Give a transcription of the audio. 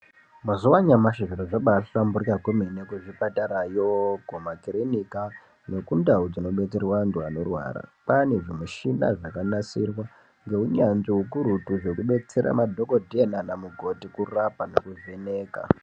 Mazuva anyamashi zviro zvabahlamburika kwemene kuzvipatarayo kumakirinika nekundau dzinodetserwa antu anorwara. Kwane zvimishina zvakanasirwa ngeunyanzvi hukurutu zvekubetsera madhogodheya nana mukoti kurapa nekuvheneka.